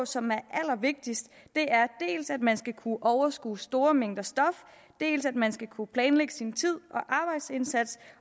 som er allervigtigst er dels at man skal kunne overskue store mængder stof dels at man skal kunne planlægge sin tid